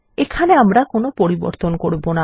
এখানে আমরা কোনো পরিবর্তন করবো না